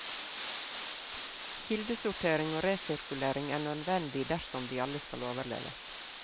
Kildesortering og resirkulering er nødvendig dersom vi alle skal overleve.